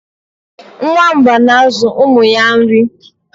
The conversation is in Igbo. nwamba na-azụ ụmụ ya nri